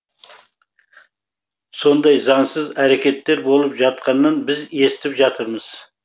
сондай заңсыз әрекеттер болып жатқанын біз естіп жатырмыз